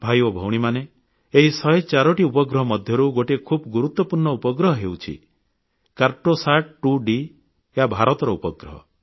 ଭାଇ ଓ ଭଉଣୀମାନେ ଏହି 104ଟି ଉପଗ୍ରହ ମଧ୍ୟରୁ ଗୋଟିଏ ଖୁବ୍ ଗୁରୁତ୍ୱପୂର୍ଣ୍ଣ ଉପଗ୍ରହ ହେଉଛି କାର୍ଟୋସାଟ୍ 2D ଏହା ଭାରତର ଉପଗ୍ରହ